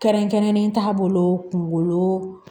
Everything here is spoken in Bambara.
Kɛrɛnkɛrɛnnen t'a bolo kungolo